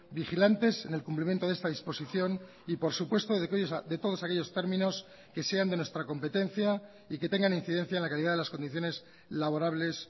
vigilantes en el cumplimiento de esta disposición y por supuesto de todos aquellos términos que sean de nuestra competencia y que tengan incidencia en la calidad de las condiciones laborables